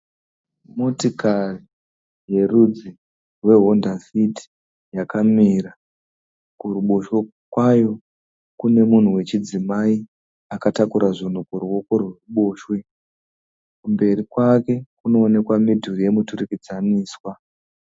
Motikari yerudzi wehonda fit yakamira, kuruboshwe kwayo kune mumhu wechidzimai akatakura zvinhu kuruwoko rwekuboshwe, kumberi kwake kunoonekwa mudhuri yemuturikidzaniswa.